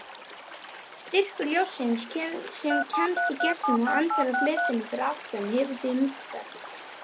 Styrkur ljóssins sem kemst í gegn og endar á fletinum fyrir aftan hefur því minnkað.